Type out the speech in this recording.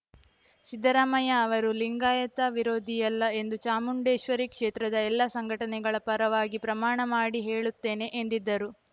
ಸಿದ್ದರಾಮಯ್ಯ ಅವರು ಲಿಂಗಾಯತ ವಿರೋಧಿಯಲ್ಲ ಎಂದು ಚಾಮುಂಡೇಶ್ವರಿ ಕ್ಷೇತ್ರದ ಎಲ್ಲಾ ಸಂಘಟನೆಗಳ ಪರವಾಗಿ ಪ್ರಮಾಣ ಮಾಡಿ ಹೇಳುತ್ತೇನೆ ಎಂದಿದ್ದರು